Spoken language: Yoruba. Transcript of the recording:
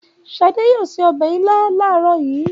Ṣadé yóò se ọbẹ̀ ilá láàárọ̀ yìí.